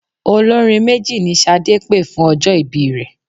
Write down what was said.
Olórin méjì ni Ṣadé pè fún ọjọ́ ìbí rẹ.